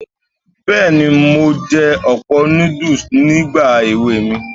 Bẹ́ẹ̀ni, mo jẹ ọ̀pọ̀ núdùs nígbà èwe mi.